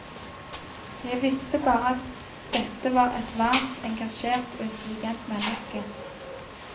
Jeg visste bare at dette var et varmt, engasjert og intelligent menneske.